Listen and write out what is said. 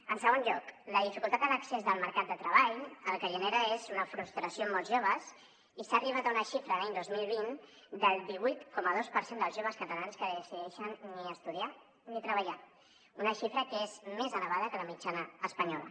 en segon lloc la dificultat a l’accés del mercat de treball el que genera és una frustració en molts joves i s’ha arribat a una xifra l’any dos mil vint del divuit coma dos per cent dels joves catalans que decideixen ni estudiar ni treballar una xifra que és més elevada que la mitjana espanyola